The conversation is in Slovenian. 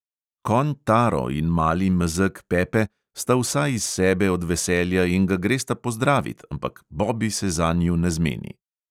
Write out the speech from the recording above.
Konj taro in mali mezeg pepe sta vsa iz sebe od veselja in ga gresta pozdravit, ampak bobi se zanju ne zmeni.